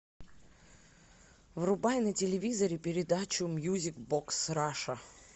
врубай на телевизоре передачу мьюзик бокс раша